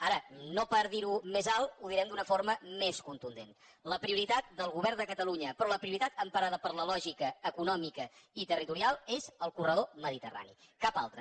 ara no per dir ho més alt ho direm d’una forma més contundent la prioritat del govern de catalunya però la prioritat emparada per la lògica econòmica i territorial és el corredor mediterrani cap altra